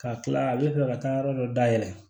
Ka kila a bɛ fɛ ka taa yɔrɔ dɔ dayɛlɛ